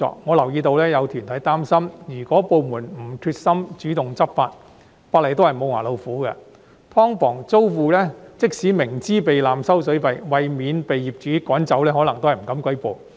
我留意到有團體擔心，如果部門沒有決心主動執法，法例也只是"無牙老虎"，即使"劏房"租戶明知道被濫收水費，但為免被業主趕走，可能也不敢舉報。